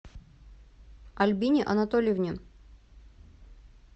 альбине анатольевне